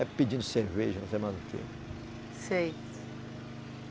É pedindo cerveja, não sei mais o quê. Sei